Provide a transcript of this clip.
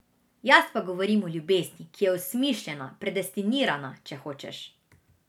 Jaz pa govorim o ljubezni, ki je osmišljena, predestinirana, če hočeš.